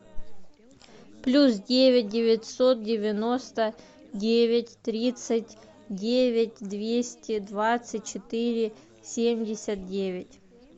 плюс девять девятьсот девяносто девять тридцать девять двести двадцать четыре семьдесят девять